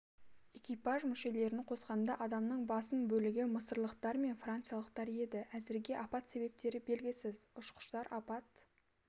экипаж мүшелерін қосқанда адамның басым бөлігі мысырлықтар мен франциялықтар еді әзірге апат себептері белгісіз ұшқыштар апат